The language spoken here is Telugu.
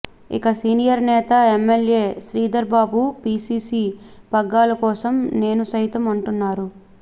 ఇక సీనియర్ నేత ఎమ్మెల్యే శ్రీధర్బాబు పీసీసీ పగ్గాల కోసం నేను సైతం అంటున్నారు